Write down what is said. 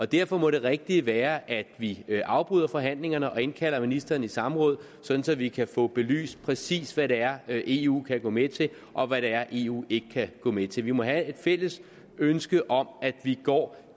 derfor må det rigtige være at vi afbryder forhandlingerne og indkalder ministeren i samråd sådan at vi kan få belyst præcis hvad det er eu kan gå med til og hvad det er eu ikke kan gå med til vi må have et fælles ønske om at vi går